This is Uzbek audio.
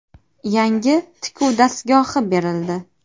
Yangi tikuv dastgohi berildi.